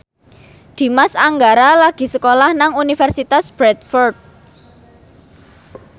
Dimas Anggara lagi sekolah nang Universitas Bradford